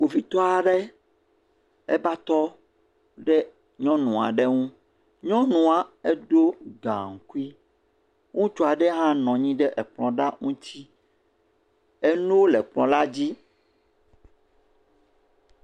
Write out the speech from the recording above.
Kpovitɔ aɖe eva tɔ ɖe nyɔnu aɖe nu. Nyɔnua eɖo gaŋkui. Ŋutsu aɖe hã nɔ anyi ɖe ekplɔ ɖa ŋuti. Enuwo le kplɔ la dzi.